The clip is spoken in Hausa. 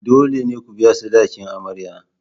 Dole ne ku biya sadakin amarya.